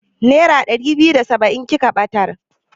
Nera ɗari biyu da saba'in kika ɓatar?